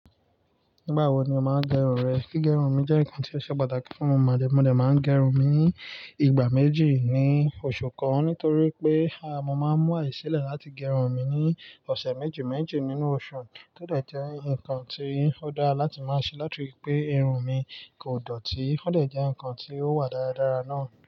Nígbà wo ni o máa ń gẹrun rẹ? Gígerun mi jẹ́ nǹkan tí ó ṣe pàtàkì fún mi májè mo dẹ. Mo máa ń gẹrun mi ní ìgbà méjì ní oṣù kan nítorí pé, a mo máa ń mú àyè sílẹ̀ láti gẹrun mi ní ọ̀sẹ̀ méjì méjì nínú oṣù. Ó dẹ̀ jẹ́ ǹkan tí ó dára láti máa ṣe láti ripé irun mi kò dọ̀tí. Ó dẹ̀ jẹ́ ǹkan tí ó wà dáradára náà.